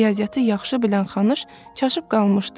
Riyaziyyatı yaxşı bilən Xanış çaşıb qalmışdı.